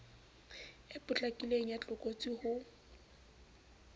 e potlakileng ya tlokotsi ho